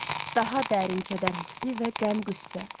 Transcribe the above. Daha dərin kədər hissi və qəm-qüssə.